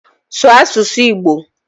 Sụọ asụsụ Igbo!